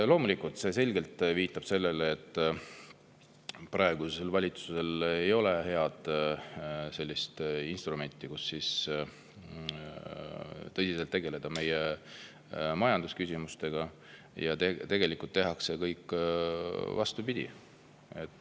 Loomulikult viitab see selgelt sellele, et praegusel valitsusel ei ole head instrumenti, et tegeleda tõsiselt majandusküsimustega, ja tegelikult tehakse kõike vastupidi.